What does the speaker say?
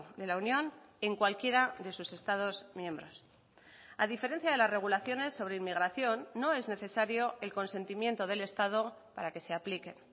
de la unión en cualquiera de sus estados miembros a diferencia de las regulaciones sobre inmigración no es necesario el consentimiento del estado para que se aplique